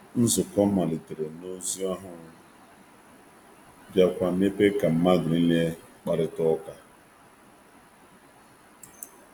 Nzukọ nụ malitere site na mmelite, wee mepee ala maka mkpakorịta ụka mepere emepe nke ọbụla nwere ike isonye.